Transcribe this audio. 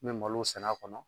N bɛ malo sɛnɛ a kɔnɔ.